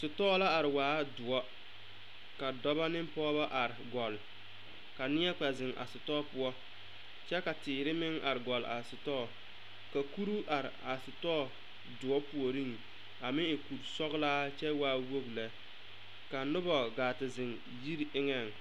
Sitɔɔ la a are waa doɔre ka dɔba ne pɔgeba are gɔlle ka neɛ kpɛ zeŋ a sitɔɔ poɔ kyɛ ka teere meŋ are gɔlle a sitɔɔ ka kuri are a sitɔɔdoɔre puoriŋ a meŋ e kurisɔglaa kyɛ waa wogi lɛ ka noba gaa te zeŋ yiri eŋɛŋ.